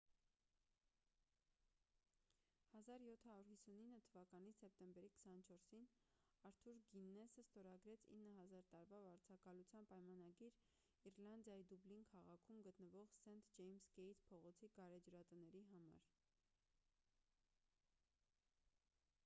1759 թվականի սեպտեմբերի 24-ին արթուր գիննեսը ստորագրեց 9,000 տարվա վարձակալության պայմանագիր իռլանդիայի դուբլին քաղաքում գտնվող սենթ ջեյմս գեյթ փողոցի գարեջրատների համար